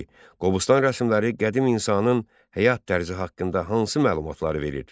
2. Qobustan rəsmləri qədim insanın həyat tərzi haqqında hansı məlumatları verir?